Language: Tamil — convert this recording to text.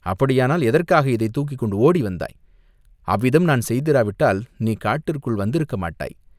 "அப்படியானால், எதற்காக இதைத் தூக்கிக் கொண்டு ஓடி வந்தாய்?" "அவ்விதம் நான் செய்திராவிட்டால் நீ காட்டிற்குள் வந்திருக்க மாட்டாய்.